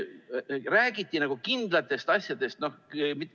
Räägiti nagu kindlatest asjadest.